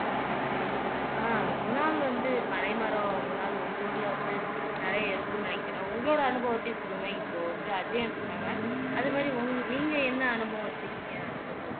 ஆஹ் குணால் வந்து பனைமரம் குணால் உங்க ஊர்ல வந்து நிறைய இருக்கும்னு நினைக்கிறேன் உங்களோட அனுபவத்தையும் சொல்லுங்க இப்போ வந்து அஜயன்னு சொன்னாங்க அது மாதிரி உங் நீங்க என்ன அனுபவம் வச்சிருக்கீங்க அதைப் பத்தி